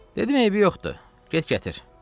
Dedim: Eybi yoxdur, get gətir.